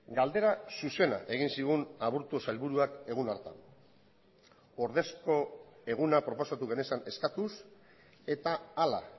galdera zuzena egin zigun aburto sailburuak egun hartan ordezko eguna proposatu genezan eskatuz eta hala